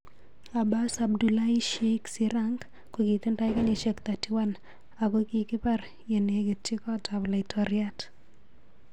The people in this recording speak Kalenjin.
Abas Abdullahi Sheikh Sirank kokitindoi kenyishek 31 akokikipar yenekitchi kot ap. Laitoriat.